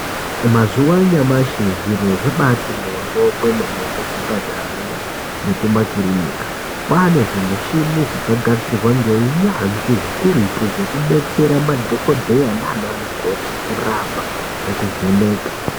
Mazuwa anyamashi zviro zvabati moryo kwemene kuchipatarayo nekumakirinika kwane zvimuchini zvakagadzirwa ngeunyanzvi hukurutu zvekubetsera madhokodheya nana mukoti kurapa nekuvheneka.